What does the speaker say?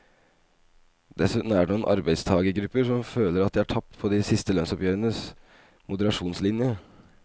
Dessuten er det noen arbeidstagergrupper som føler at de har tapt på de siste lønnsoppgjørenes moderasjonslinje.